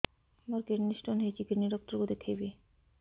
ମୋର kidney stone ହେଇଛି kidney doctor କୁ ଦେଖାଇବି